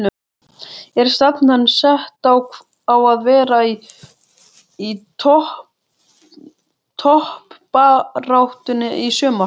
Er stefnan sett á að vera í toppbaráttunni í sumar?